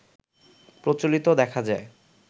প্রচলিত দেখা যায়